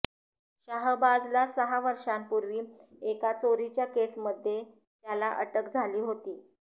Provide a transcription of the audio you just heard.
शाहबाजला सहा वर्षापूर्वी एका चोरीच्या केसमध्ये त्याला अटक झाली होती